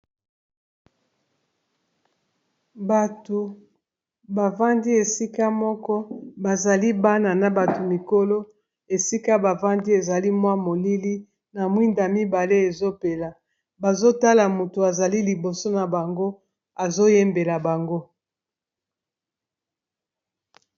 Bato bavandi esika moko bazali bana na bato mikolo esika bavandi ezali mwa molili na mwinda mibale ezopela bazotala moto azali liboso na bango azoyembela bango.